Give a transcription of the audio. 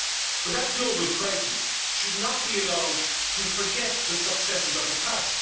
But that global crisis should not be allowed to forget the successes of the past.